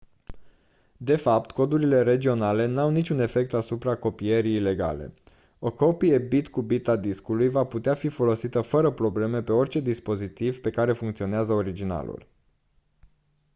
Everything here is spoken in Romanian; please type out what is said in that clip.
de fapt codurile regionale n-au niciun efect asupra copierii ilegale o copie bit cu bit a discului va putea fi folosită fără probleme pe orice dispozitiv pe care funcționează originalul